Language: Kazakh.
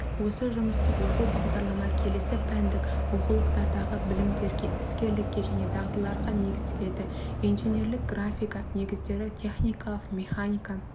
осы жұмыстық оқу бағдарлама келесі пәндік оқулықтардағы білімдерге іскерлікке және дағдыларға негізделеді инженерлік графика негіздері техникалық механика